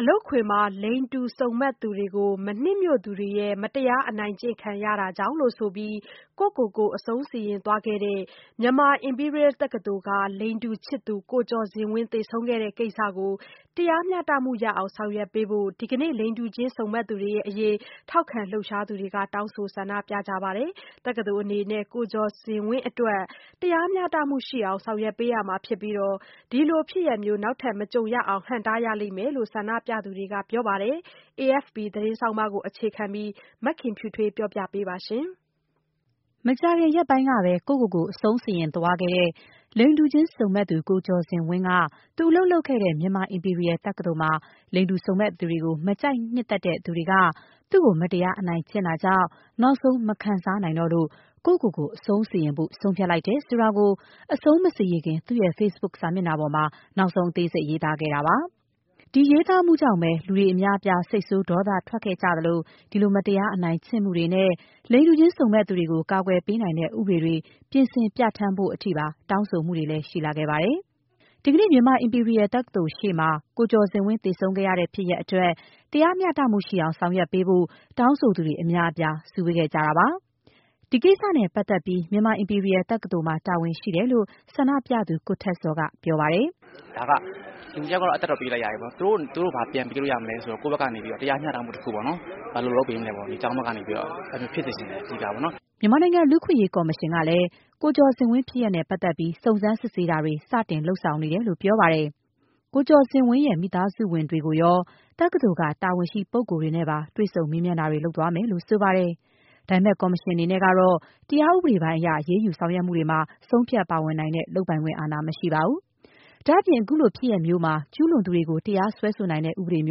အလုပ်ခွင်မှာ လိင်တူစုံမက်သူတွေကို မနှစ်မြို့သူတွေရဲ့ မတရား အနိုင်ကျင့်ခံရတာကြောင့်လို့ ဆိုပြီး ကိုယ့်ကိုယ်ကို အဆုံးစီရင်သွားခဲ့တဲ့ Myanmar Imperial တက္ကသိုလ်က လိင်တူချစ်သူ ကိုကျော်ဇင်ဝင်း သေဆုံးခဲ့တဲ့ ကိစ္စကို တရားမျှတအောင် ဆောင်ရွက်ပေးဖို့အတွက် ဒီကနေ့ လိင်တူချင်း စုံမက်သူတွေအရေး ထောက်ခံလှုပ်ရှားသူတွေက တောင်းဆိုဆန္ဒပြကြပါတယ်။ Myanmar Imperial တက္ကသိုလ် အနေနဲ့ ကိုကျော်ဇင်ဝင်းအတွင်း တရားမျှတမှု ရှိအောင် ဆောင်ရွက်ပေးရမှာဖြစ်ပြီး ဒီလိုဖြစ်ရပ်မျိုး နောက်ထပ်မကြုံရအောင် ဟန့်တားရလိမ့်မယ်လို့ ဆန္ဒပြသူတွေက ပြောပါတယ်။ AFP ဆောင်းပါးကိုအခြေခံပြီး မခင်ဖြူထွေးက ပြောပြပေးပါမယ်။ မကြာခင်ရက်ပိုင်းက ကိုယ့်ကိုယ်ကို အဆုံးစီရင်သွားတဲ့ လိင်တူစုံမက်သူ ကိုကျော်ဇင်ဝင်းက သူ အလုပ်လုပ်ခဲ့တဲ့ Myanmar Imperial တက္ကသိုလ်မှာ လိင်တူစုံမက်သူတွေကို မကြိုက်နှစ်သက်သူတချို့က သူ့ကို မတရား အနိုင်ကျင့်တာကြောင့် နောက်ဆုံး မခံစားနိုင်တော့လို့ ကိုယ့်ကိုယ်ကို အဆုံးစီရင်ဖို့ ဆုံးဖြတ်လိုက်တယ်ဆိုတာကို အဆုံးမစီရင်ခင် သူ့ရဲ့ Facebook စာမျက်နှာပေါ်မှာ နောက်ဆုံး အသေးစိတ် ရေးသားခဲ့တာပါ။ ဒီရေးသားမှုကြောင့်ပဲ လူတွေအများအပြား စိတ်ဆိုး ဒေါသထွက်ခဲ့ကြပြီး ဒီလိုမတရားအနိုင်ကျင့်မှုတွေနဲ့ လိင်တူချင်း စုံမက်သူတွေကို ကာကွယ်ပေးနိုင်တဲ့ တရားဥပဒေတွေ ပြင်ဆင် ပြဌာန်းဖို့အထိပါ တောင်းဆိုတာတွေ ရှိလာခဲ့ပါတယ်။ ဒီကနေ့ Myanmar Imperial တက္ကသိုလ်ရှေ့မှာလည်း ကိုကျော်ဇင်ဝင်း သေဆုံးခဲ့ရတဲ့ ဖြစ်ရပ်အတွက် တရားမျှတအောင် ဆောင်ရွက်ပေးဖို့ တောင်းဆိုသူ အများအပြား စုဝေးခဲ့ကြပါတယ်။ ဒီအတွက် Myanmar Imperial တက္ကသိုလ်မှာ တာဝန်ရှိတယ်လို့ ဆန္ဒပြသူ ကိုထက်ဇော်က ပြောပါတယ်။ “လူတယောက်ကတော့ အသက်တော့ ပေးလိုက်ရပြီပေါ့နော်… သူတို့ ဘာပြန်ပေးလို့ရမလဲ ဆိုရင်တော့ ကိုယ့်ဘက်ကနေပြီးတော့ တရားမျှတမှု တခုပေါ့နော်။ ဘယ်လိုလုပ်ပေးမလဲပေါ့။ ကျောင်းဘက်ကနေပြီးတော့။ အဲ့ဒီလိုမျိုး ဖြစ်စေချင်တယ်။” မြန်မာနိုင်ငံ လူ့အခွင့်အရေး ကော်မရှင်ကလည်း ကိုကျော်ဇင်ဝင်း ဖြစ်ရပ်နဲ့ပတ်သက်လို့ စုံစမ်းစစ်ဆေးတာတွေ စတင်လုပ်ဆောင်နေပြီလို့ ပြောပါတယ်။ ကိုကျော်ဇင်ဝင်းရဲ့ မိသားစုဝင်တွေကိုရော၊ တက္ကသိုလ်က တာဝန်ရှိ ပုဂ္ဂိုလ်တွေနဲ့ပါ တွေ့ဆုံ မေးမြန်းတာတွေ လုပ်သွားမယ်လို့ ဆိုပါတယ်။ ဒါပေမဲ့ ကော်မရှင်အနေနဲ့ကတော့ တရားဥပဒေပိုင်းအရ အရေးယူဆောင်ရွက်မှုတွေမှာတော့ ဆုံးဖြတ် ဝင်ပါနိုင်တဲ့ လုပ်ပိုင်ခွင့် အာဏာ မရှိပါဘူး။ ဒါ့အပြင် အခုလိုဖြစ်ရပ်မျိုးမှာ ကျူးလွန်သူတွေကို တရားစွဲဆိုနိုင်တဲ့ ဥပဒေ မြ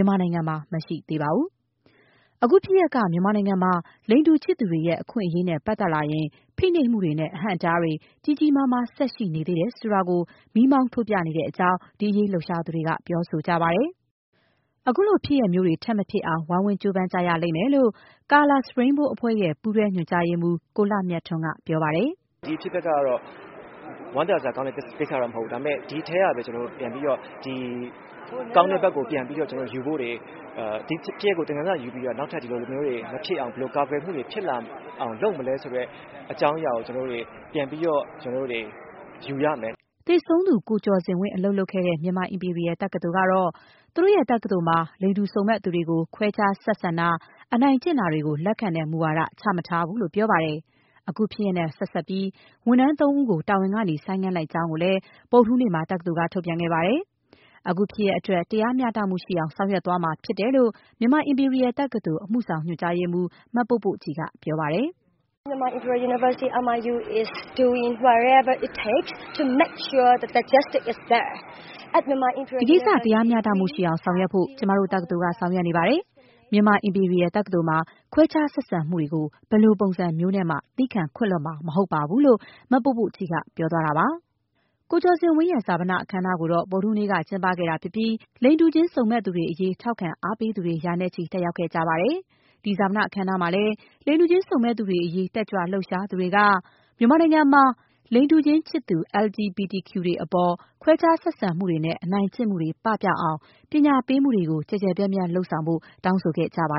န်မာနိုင်ငံမှာ မရှိသေးပါဘူး။ အခုဖြစ်ရပ်က မြန်မာနိုင်ငံမှာ လိင်တူချစ်သူတွေရဲ့ အခွင့်အရေးနဲ့ပတ်သက်လာရင် ဖိနှိပ်မှုတွေနဲ့ အဟန့်အတားတွေ ကြီးကြီးမားမား ရှိနေသေးတယ်ဆိုတာကို မီးမောင်း ထိုးပြနေတဲ့အကြောင်း ဒီအရေးလှုပ်ရှားသူတွေက ပြောပါတယ်။ ခုလိုဖြစ်ရပ်မျိုးတွေ ထပ်မဖြစ်အောင် ဝိုင်းဝန်းကြိုးပမ်းကြရလိမ့်မယ်လို့ Colors Rainbow အဖွဲ့ရဲ့ ပူးတွဲညွှန်ကြားရေးမှူး ကိုလှမြတ်ထွန်းက ပြောပါတယ်။ “ဒီအဖြစ်အပျက်က ဝမ်းသာစရာကောင်းတဲ့ ကိစ္စတော့ မရှိဘူး။ ဒါပေမဲ့ ဒီအထဲကမှ ကောင်းတဲ့ဘက်ကို ပြန်ပြီးတော့ယူဖို့တွေ၊ ဒီဖြစ်ရပ်ကို သင်ခန်းစာယူပြီးတော့ နောက်ထပ် ဒီလိုမျိုးတွေမဖြစ်အောင် ဘယ်လိုကာကွယ်မှုတွေ ဖြစ်လာအောင်လုပ်မလဲဆိုတဲ့ အကြောင်းအရာကို ကျနော်တို့တွေ ပြန်ပြီးတော့ ယူရမယ်။” သေဆုံးသူ ကိုကျော်ဇင်ဝင်း အလုပ်လုပ်ခဲ့တဲ့ Myanmar Imperial တက္ကသိုလ်ကတော့ သူတို့တက္ကသိုလ်မှာ လိင်တူချင်စုံမက်သူတွေကို ခွဲခြားဆက်ဆံတာ၊ အနိုင်ကျင့်တာတွေကို လက်ခံတဲ့မူဝါဒ ချမထားဘူးလို့ ပြောပါတယ်။ အခုဖြစ်ရပ်နဲ့ ဆက်စပ်ပြီး ဝန်ထမ်း သုံးဦးကို တာဝန်ကနေ ဆိုင်းငံလိုက်ကြောင်းကိုလည်း ဗုဒ္ဓဟူးနေ့မှာ တက္ကသိုလ်က ထုတ်ပြန်ခဲ့ပါတယ်။ အခုဖြစ်ရပ်အတွက် တရားမျှတမှု ရှိအောင် ဆောင်ရွက်သွားမှာ ဖြစ်တယ်လို့လည်း Myanmar Imperial တက္ကသိုလ် အမှုဆောင်ညွှန်ကြားရေးမှူး မပို့ပို့ကြည် ကပြောပါတယ်။ “ဒီကိစ္စ တရားမျှတမှု ရှိအောင် ဆောင်ရွက်ဖို့ ကျမတို့ တက္ကသိုလ်က ဆောင်ရွက်နေပါတယ်။ Myanmar Imperial တက္ကသိုလ်မှာ ခွဲခြားဆက်ဆံမှုတွေကို ဘယ်လိုပုံစံမျိုးနဲ့မှ သည်းခံခွင့်လွှတ်မှာ မဟုတ်ပါဘူး။” - လို့ မပို့ပို့ကြည် ကပြောသွားတာပါ။ ကိုကျော်ဇင်ဝင်းရဲ့ ဈာပန အခမ်းအနားကိုတော့ ဗုဒ္ဓဟူးနေ့ကကျင်းပခဲ့ပြီး လိင်တူချင်စုံမက်သူတွေအရေး ထောက်ခံအားပေးသူတွေ ရာနဲ့ချီ တက်ရောက်ခဲ့ကြပါတယ်။ ဒီဈာပနအခမ်းအနားမှာလည်း လိင်တူချင်းစုံမက်သူတွေအရေး တက်ကြွလှုပ်ရှားသူတွေက - မြန်မာနိုင်ငံမှာ လိင်တူချင်း ချစ်သူ LGBT တွေအပေါ် ခွဲခြားဆက်ဆံမှုနဲ့ အနိုင်ကျင့်မှုတွေ ပပျောက်အောင် ပညာပေးမှုတွေ ကျယ်ကျယ်ပြန့်ပြန့် လုပ်ဆောင်ဖို့ တောင်းဆိုခဲ့ကြပါ